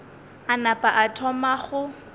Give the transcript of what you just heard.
a napa a thoma go